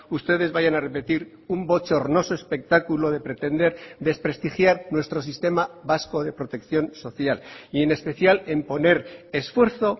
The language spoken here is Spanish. ustedes vayan a repetir un bochornoso espectáculo de pretender desprestigiar nuestro sistema vasco de protección social y en especial en poner esfuerzo